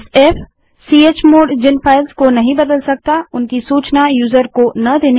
fchmod जिन files को नहीं बदल सकता उनकी सूचना यूजर को न देने के लिए